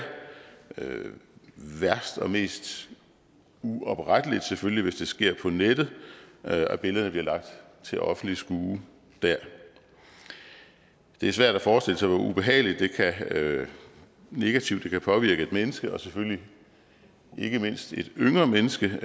værst og mest uopretteligt selvfølgelig hvis det sker på nettet at billederne bliver lagt til offentligt skue der det er svært at forestille sig hvor ubehageligt negativt det kan påvirke et menneske og selvfølgelig ikke mindst et yngre menneske